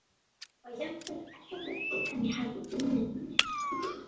Það var jafnvel erfiðara en ég hafði ímyndað mér.